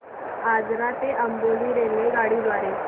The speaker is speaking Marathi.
आजरा ते अंबोली रेल्वेगाडी द्वारे